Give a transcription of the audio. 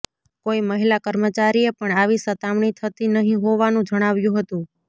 કોઈ મહિલા કર્મચારીએ પણ આવી સતામણી થતી નહિ હોવાનું જણાવ્યું હતું